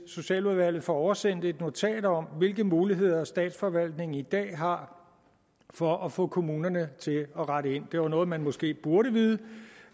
socialudvalget får oversendt et notat om hvilke muligheder statsforvaltningen i dag har for at få kommunerne til at rette ind det var noget man måske burde vide